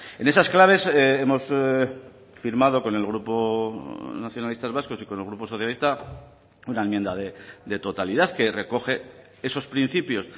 en esas claves hemos firmado con el grupo nacionalistas vascos y con el grupo socialista una enmienda de totalidad que recoge esos principios